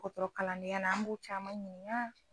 Ka tɔrɔ kalandenya la an b'o caman ɲininka